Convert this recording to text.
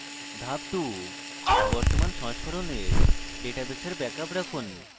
ধাপ 2: বর্তমান সংস্করণের ডাটাবেসের ব্যাকআপ রাখুন